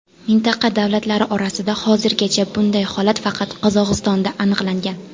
Mintaqa davlatlari orasida hozirgacha bunday holat faqat Qozog‘istonda aniqlangan .